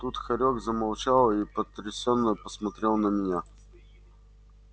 тут хорёк замолчал и потрясенно посмотрел на меня